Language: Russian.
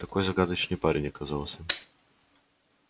такой загадочный парень оказался